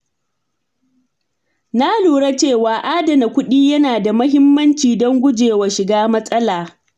Na lura cewa adana kuɗi yana da mahimmanci don gujewa shiga matsala.